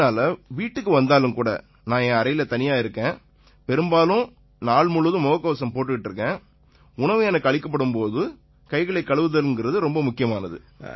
ஆகையினால வீட்டுக்கு வந்தாலுமேகூட நான் என் அறையில தனியா இருக்கேன் பெரும்பாலும் நாள் முழுவதும் முகக்கவசம் போட்டுக்கிட்டு இருக்கேன் உணவு எனக்கு அளிக்கப்படும் போது கைகளை கழுவுதல்ங்கறது ரொம்ப முக்கியமானது